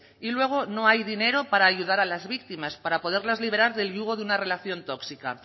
y luego no hay dinero para ayudar a las víctimas para poderlas liberar del yugo de una relación tóxica